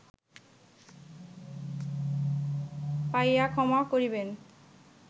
পাইয়া ক্ষমা করিবেন